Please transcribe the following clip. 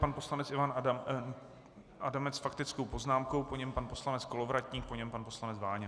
Pan poslanec Ivan Adamec s faktickou poznámkou, po něm pan poslanec Kolovratník, po něm pan poslanec Váňa.